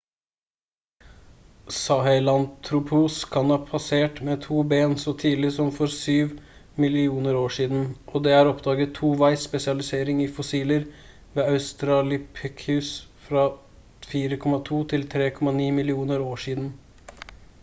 sahelanthropus kan ha spasert med 2 ben så tidlig som for 7 millioner år siden og det er oppdaget toveis spesialisering i fossiler ved australopithecus fra 4,2–3,9 millioner år siden